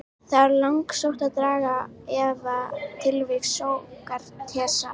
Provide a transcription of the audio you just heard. Það er langsótt að draga í efa tilvist Sókratesar.